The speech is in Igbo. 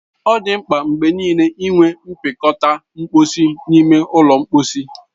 Ọ dị mkpa mgbe niile inwe mpịakọta mposi n'ime ụlọ mposi.